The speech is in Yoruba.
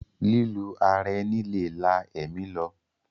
Lílù ara ẹni lè la ẹ̀mí lọ.